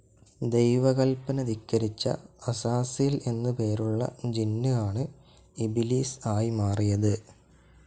ദൈവ കൽപ്പന ധിക്കരിച്ച അസാസീൽ എന്ന് പേരുള്ള ജിന്ന്‌ ആണു ഇബ്‌ലീസ്‌ ആയി മാറിയത്‌.